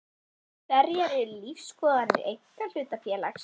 Hverjar eru lífsskoðanir einkahlutafélags?